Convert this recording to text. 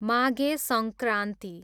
Maghe Sankranti